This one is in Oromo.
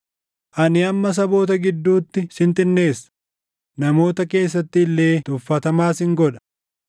“Ani amma saboota gidduutti sin xinneessa; namoota keessatti illee tuffatamaa sin godha.